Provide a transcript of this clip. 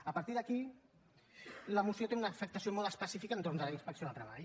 a partir d’aquí la moció té una afectació molt específica entorn de la inspecció de treball